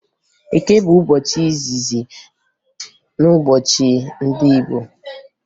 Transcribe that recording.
Eke bụ ụbọchị izizi na ngụụbọchị ndị Igbo